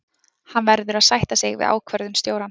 Hann verður að sætta sig við ákvörðun stjórans.